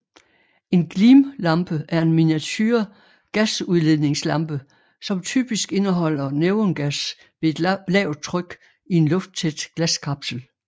En glimlampe er en miniature gasudladningslampe som typisk indeholder neongas ved et lavt tryk i en lufttæt glaskapsel